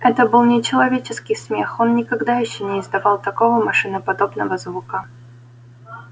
это был нечеловеческий смех он никогда ещё не издавал такого машиноподобного звука